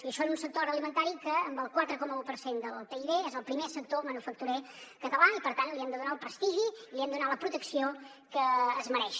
i això en un sector agroalimentari que amb el quatre coma un per cent del pib és el primer sector manufacturer català i per tant li hem de donar el prestigi li hem de donar la protecció que es mereix